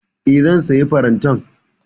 E, zan sayi farantan.